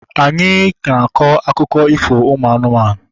Anyị na-akọ akụkọ ifo ụmụ anụmanụ